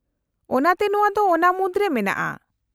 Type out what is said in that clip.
-ᱚᱱᱟᱛᱮ ᱱᱚᱶᱟ ᱫᱚ ᱚᱱᱟ ᱢᱩᱫᱨᱮ ᱢᱮᱱᱟᱜᱼᱟ ᱾